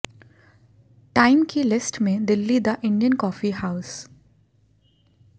time की list में दिल्ली दा इंडियन कॉफी हाउस